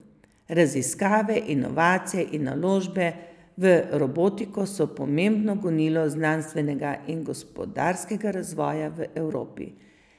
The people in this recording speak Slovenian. Raziskave, inovacije in naložbe v robotiko so pomembno gonilo znanstvenega in gospodarskega razvoja v Evropi.